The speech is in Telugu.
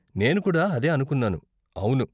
నేను కూడా అదే అనుకున్నాను, అవును.